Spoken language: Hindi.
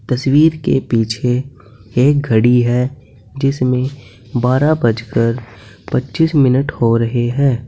तस्वीर के पीछे एक घड़ी है जिसमें बारह बजकर पच्चीस मिनट हो रहे हैं।